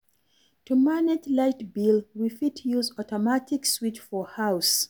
To manage light bill, we fit use automatic switch for house